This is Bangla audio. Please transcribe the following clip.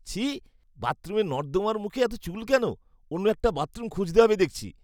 ছিঃ, বাথরুমের নর্দমার মুখে এত চুল কেন? অন্য একটা বাথরুম খুঁজতে হবে দেখছি।